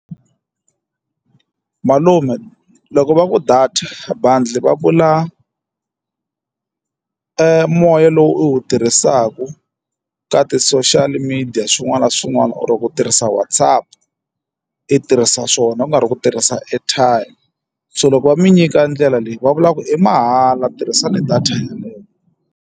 Malume loko va ku data bundle va vula moya lowu u wu tirhisaka ka ti-social media yi dya swin'wana na swin'wana or ku tirhisa WhatsApp i tirhisa swona ku nga ri ku tirhisa airtime so loko va mi nyika ndlela leyi va vulaka ku i mahala tirhisani data ya .